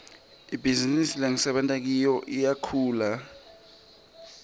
ibhizinisi lengisebenta kiyo iyakhula